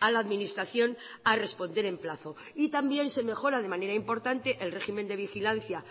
a la administración a responder en plazo y también se mejora de manera importante el régimen de vigilancia